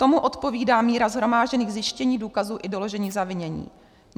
Tomu odpovídá míra shromážděných zjištění, důkazů i doložení zavinění.